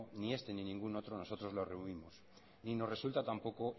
ni este ni ningún otro nosotros lo rehuimos ni nos resulta tampoco